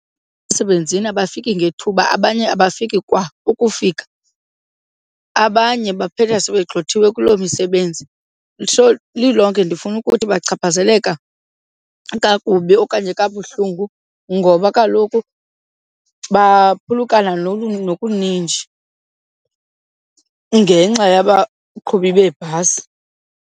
Emsebenzini abafiki ngethuba abanye abafiki kwa ukufika, abanye baphela sebegxothiwe kulo misebenzi. So lilonke ndifuna ukuthi bachaphazeleka kakubi okanye kabuhlungu ngoba kaloku baphulukana nokuninji ngenxa yabaqhubi beebhasi.